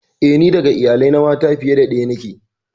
Eh, ni ɗaga iyalai na mata fiye da daya niƙe.